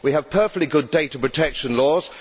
We have perfectly good data protection laws.